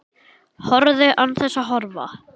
Horfðu. án þess að horfa.